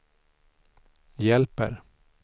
hjälper